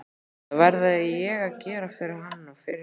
Það verði ég að gera fyrir hann og fyrir ykkur!